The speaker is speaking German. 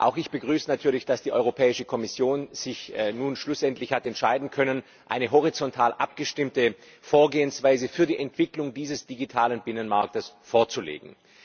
Auch ich begrüße natürlich, dass die Kommission sich nun schlussendlich hat entscheiden können, eine horizontal abgestimmte Vorgehensweise für die Entwicklung dieses digitalen Binnenmarkts vorzulegen.